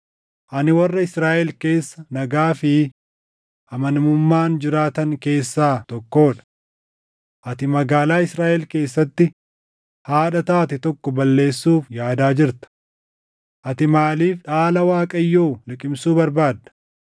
Ani warra Israaʼel keessa nagaa fi amanamummaan jiraatan keessaa tokkoo dha. Ati magaalaa Israaʼel keessatti haadha taate tokko balleessuuf yaadaa jirta. Ati maaliif dhaala Waaqayyoo liqimsuu barbaadda?”